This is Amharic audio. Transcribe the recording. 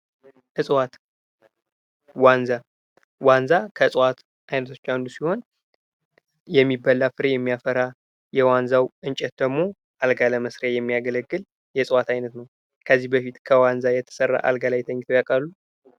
እጽዋት ዋንዛ ከእጽዋት አይነቶች አንዱ ሲሆን የሚበላ ፍሬ የሚያፈራ የዋንዛው እንጨት ደግሞ አልጋ ለመስሪያ የሚያገለግል የእጽዋት አይነት ነው የጽዋት አይነት ነው። ከዚህ በፊት ከዋንዛ የተሰራ አልጋ ላይ ተኝተው ያውቃሉ?